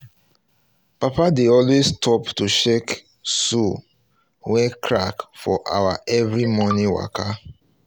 papa dey always stop um to check um soul wey crack for our every morning waka